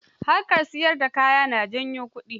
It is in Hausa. Harkar siyar da kaya na janyo kudi.